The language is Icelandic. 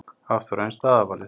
Hafþór: En staðarvalið?